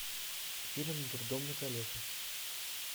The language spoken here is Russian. фильм дурдом на колесах